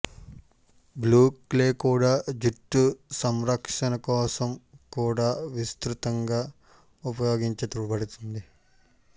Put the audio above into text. blue clay కూడా జుట్టు సంరక్షణ కోసం కూడా విస్తృతంగా ఉపయోగించబడుతుంది